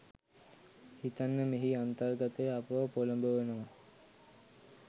හිතන්න මෙහි අන්තර්ගතය අපව පොළඹවනවා.